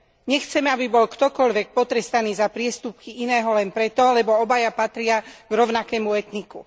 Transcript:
Nechceme, aby bol ktokoľvek potrestaný za priestupky iného len preto, lebo obaja patria k rovnakému etniku.